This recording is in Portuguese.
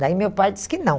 Daí meu pai disse que não.